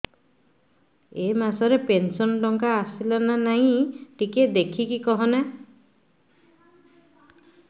ଏ ମାସ ରେ ପେନସନ ଟଙ୍କା ଟା ଆସଲା ନା ନାଇଁ ଟିକେ ଦେଖିକି କହନା